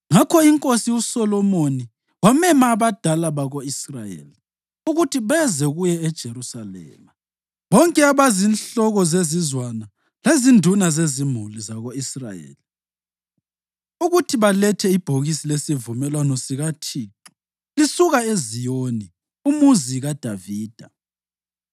Ngakho iNkosi uSolomoni wamema abadala bako-Israyeli ukuthi beze kuye eJerusalema, bonke abazinhloko zezizwana lezinduna zezimuli zako-Israyeli, ukuthi balethe ibhokisi lesivumelwano sikaThixo lisuka eZiyoni, uMuzi kaDavida.